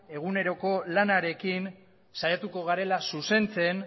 eguneroko lanarekin saiatuko garela zuzentzen